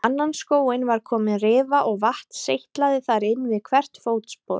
Á annan skóinn var komin rifa og vatn seytlaði þar inn við hvert fótspor.